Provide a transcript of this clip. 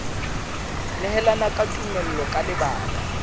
nehelana ka tumello ka lebaka